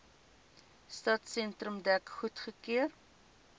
stadsentrum dek goedgekeur